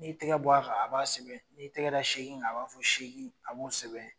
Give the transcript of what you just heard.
N'i tigɛ bɔ a kan a b'a sɛbɛn, n'i y'i tigɛ da segin kan, o b'a segin, a b'a fɔ segin a b'o sɛbɛn.